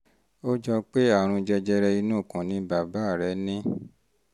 ó jọ pé àrùn jẹjẹrẹ inú ikùn ni bàbá rẹ ní